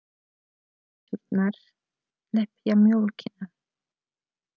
Kisurnar lepja mjólkina.